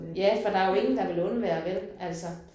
Ja for der jo ingen der vil undvære vel altså